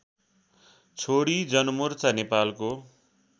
छोडी जनमोर्चा नेपालको